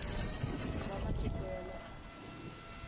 va matiko ya le handle